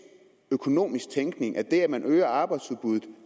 økonomisk tænkning det at man øger arbejdsudbuddet